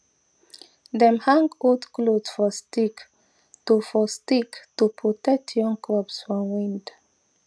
dem hang old cloth for stick to for stick to protect young crops from wind